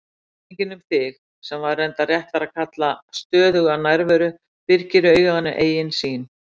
Minningin um þig, sem væri reyndar réttara að kalla stöðuga nærveru, byrgir auganu eigin sýn.